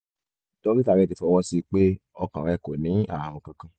dókítà rẹ ti fọwọ́ sí i pé ọkàn rẹ kò ní ààrùn kankan